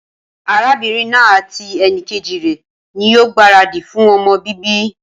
Arábínrin naa àti enìkejì rè ní yío gbàradì fun ọmọ bíbí